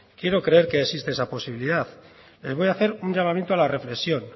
quiero creer que existe esa posibilidad voy a hacer un llamamiento a la represión